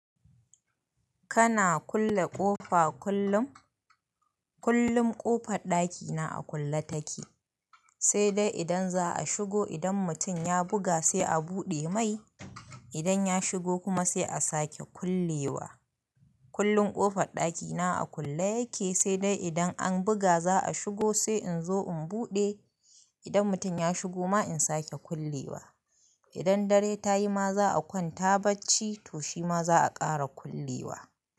Kana kulle ƙofa kullum? Kullum ƙofar ɗakina a kulle take, sai dai idan za a shigo, idan mutum ya buga sai a buɗe mai, idan ya shigo kuma sai a sake kulle wa. Kullum ƙofar ɗakina a kulle yake, sai dai idan an buga za a shigo sai in zo in buɗe, idan mutum ya shigo ma in sake kulle wa. Idan dare ta yi ma za a kwanta bacci to shi ma za a ƙara kulle wa.